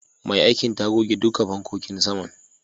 Mai aikin ta goge duka fankokin saman.